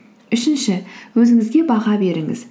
үшінші өзіңізге баға беріңіз